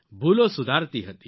ભૂલો સુધારતી હતી